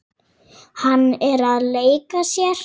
Hann er að leika sér.